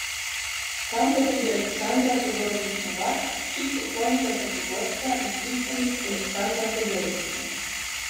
Tam bo tudi Aleksandra Todorović Novak, hči pokojnega prvoborca izbrisanih Aleksandra Todorovića.